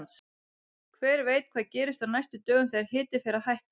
Hver veit hvað gerist á næstu dögum þegar hiti fer að hækka!